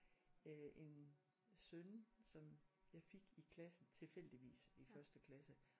Øh en søn som jeg fik i klassen tilfældigvis i første klasse